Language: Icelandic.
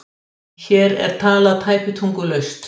Hér er talað tæpitungulaust